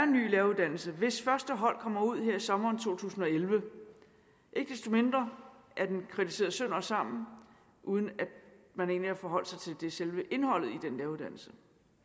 ny læreruddannelse hvis første hold kommer ud her i sommeren to tusind og elleve ikke desto mindre er den kritiseret sønder og sammen uden at man egentlig har forholdt sig til selve indholdet i uddannelsen